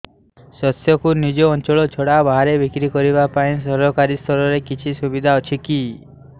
ଶସ୍ୟକୁ ନିଜ ଅଞ୍ଚଳ ଛଡା ବାହାରେ ବିକ୍ରି କରିବା ପାଇଁ ସରକାରୀ ସ୍ତରରେ କିଛି ସୁବିଧା ଅଛି କି